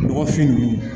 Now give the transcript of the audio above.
Nɔgɔfin ninnu